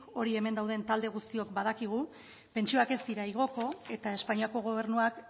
hori hemen dauden talde guztiok badakigu pentsioak ez dira igoko eta espainiako gobernuak